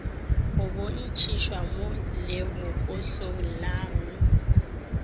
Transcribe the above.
go bontšitšwe mo lebokosong la